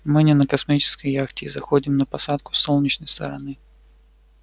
мы не на космической яхте и заходим на посадку с солнечной стороны